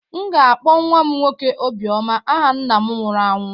M ga-akpọ nwa m nwoke "Obioma" aha nna m nwụrụ anwụ.